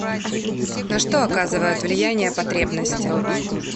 на что оказывают влияния потребности